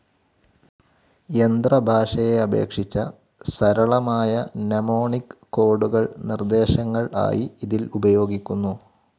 യന്ത്ര ഭാഷയെ അപേക്ഷിച്ച സരളമായ മ്നെമോണിക്‌ കോഡുകൾ നിർദ്ദേശങ്ങൾആയി ഇതിൽ ഉപയോഗികുന്നു..